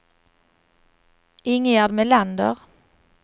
Ingegerd Melander